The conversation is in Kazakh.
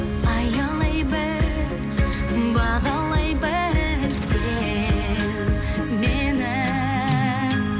аялай біл бағалай біл сен мені